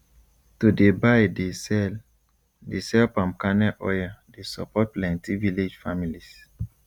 to dey buy dey sell dey sell palm kernel oil dey support plenti village families